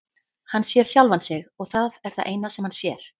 Hann sér sjálfan sig og það er það eina sem hann sér.